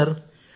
అవును సార్